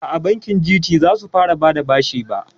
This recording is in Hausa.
Aa, bankin Gt zasu fara bada bashi ba